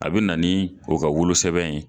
A be na ni o ka wolosɛbɛn ye